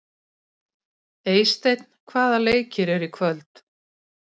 Eysteinn, hvaða leikir eru í kvöld?